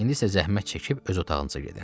İndi isə zəhmət çəkib öz otağınıza gedin.